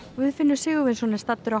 Guðfinnur Sigurvinsson er staddur á